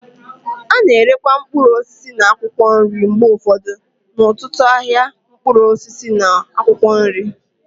A na-erekwa mkpụrụ osisi na akwụkwọ nri mgbe ụfọdụ n'ọtụtụ n'ahịa mkpụrụ osisi na akwụkwọ nri.